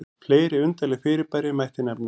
fleiri undarleg fyrirbæri mætti nefna